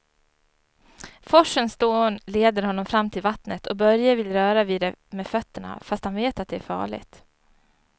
Forsens dån leder honom fram till vattnet och Börje vill röra vid det med fötterna, fast han vet att det är farligt.